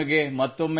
ಹೌದು sir yes sir